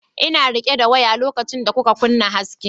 Ina rike da waya lokacin da kuka kunna hasken.